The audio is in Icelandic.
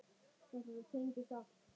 Þetta tengist allt.